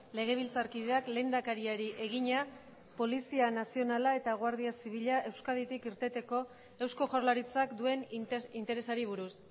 legebiltzarkideak lehendakariari egina polizia nazionala eta guardia zibila euskaditik irteteko eusko jaurlaritzak duen interesari buruz